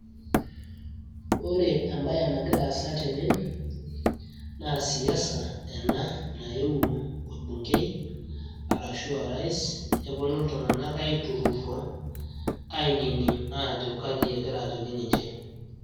Ore ebae nagira aasa tene, naa siasa ena naiwuo orbunkei arashu o rais neponu iltung'anak aiturrurro, ainining' ajo kaji egira ajoki ninche.